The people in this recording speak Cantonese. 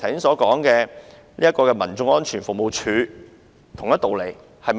這跟剛才我所說的民眾安全服務處是同一道理的。